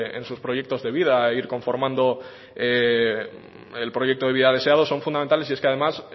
en sus proyectos de vida e ir conformando el proyecto de vida deseado son fundamentales y es que además